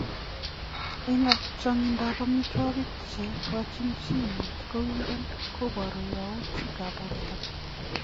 Eng changindo ab amitwokik che kochin chi mat kowiren kobaru yautik ab borto.